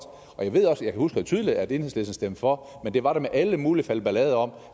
jeg husker også tydeligt at enhedslisten stemte for men det var med alle mulige falbelader om